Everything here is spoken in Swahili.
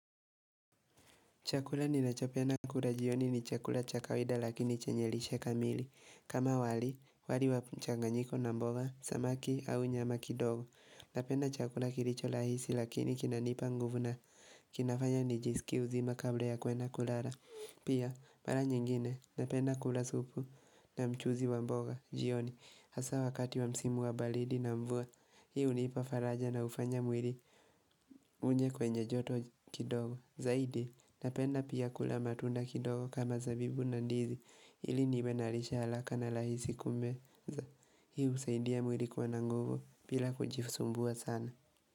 Chakula ninachopenda kula jioni ni chakula cha kawaida lakini chenye lishe kamili. Kama wali, wali wa mchanganyiko na mboga, samaki au nyama kidogo. Napenda chakula kilicho rahisi lakini kinanipa nguvu na. Kinafanya nijisikie uzima kabla ya kwenda kulala. Pia, mara nyingine, napenda kula supu na mchuzi wa mboga, jioni. Hasa wakati wa msimu wa baridi na mvua, hii hunipa faraja na hufanya mwili unye kwenye joto kidogo. Zaidi, napenda pia kula matunda kidogo kama zabibu na ndizi, ili niwe na lishe ya haraka na rahisi kumeza. Hii husaidia mwili kuwa na nguvu bila kujisumbua sana.